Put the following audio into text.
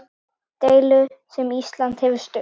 Deilu sem Ísland hefur stutt.